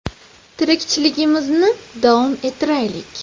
Tirikchiligimizni davom ettiraylik.